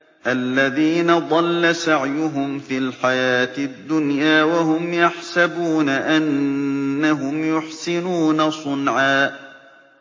الَّذِينَ ضَلَّ سَعْيُهُمْ فِي الْحَيَاةِ الدُّنْيَا وَهُمْ يَحْسَبُونَ أَنَّهُمْ يُحْسِنُونَ صُنْعًا